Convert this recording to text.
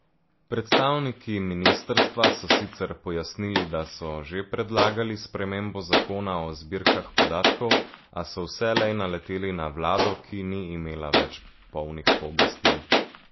Predstavniki ministrstva so sicer pojasnili, da so že predlagali spremembo zakona o zbirkah podatkov, a so vselej naleteli na vlado, ki ni imela več polnih pooblastil.